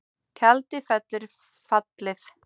Tjaldið fellur fallið